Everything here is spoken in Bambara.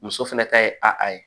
Muso fɛnɛ ta ye a ye